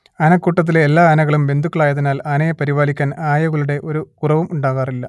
ആനക്കൂട്ടത്തിലെ എല്ലാ ആനകളും ബന്ധുക്കളായതിനാൽ ആനയെ പരിപാലിക്കാൻ ആയകളുടെ ഒരു കുറവും ഉണ്ടാകാറില്ല